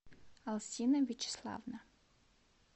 алсина вячеславовна